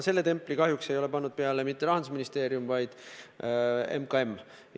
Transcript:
Seda templit ei ole pannud peale mitte Rahandusministeerium, vaid MKM.